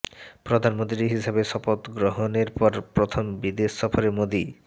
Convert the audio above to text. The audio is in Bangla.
প্রধানমন্ত্রী হিসাবে শপথ গ্রহণের পর প্রথম বিদেশ সফরে মোদী